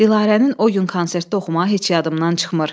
Dilarənin o gün konsertdə oxumağı heç yadımdan çıxmır.